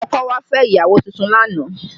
Ọkọ̀ wa fẹ́ ìyàwó tuntun lánàá